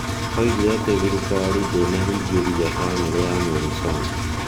Oigire atĩ thirikari ndĩiana hingĩria famĩlĩ ya Monson.